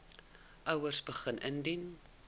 ouers begin indien